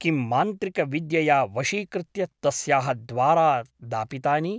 किं मान्त्रिकविद्यया वशीकृत्य तस्याः द्वारा दापितानि ?